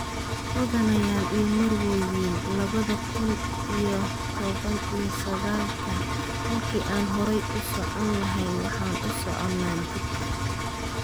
""Mudanayaal iyo marwooyin, labada kuun iyo tobaan iyo sagaal-ka, halkii aan horay u socon lahayn, waxaan u soconaa dib"